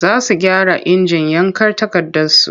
Za su gyara injin yanka takardarsu.